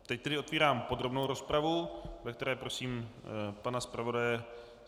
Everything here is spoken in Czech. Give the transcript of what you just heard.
Teď tedy otvírám podrobnou rozpravu, ve které prosím pana zpravodaje.